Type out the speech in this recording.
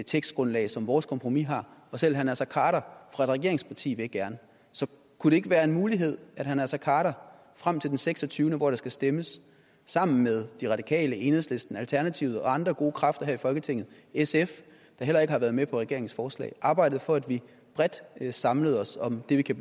tekstgrundlag som vores kompromis har og selv herre naser khader fra et regeringsparti vil gerne så kunne det ikke være en mulighed at herre naser khader frem til den 26 hvor der skal stemmes sammen med de radikale enhedslisten alternativet og andre gode kræfter her i folketinget sf der heller ikke har været med på regeringens forslag arbejdede for at vi bredt samlede os om det vi kan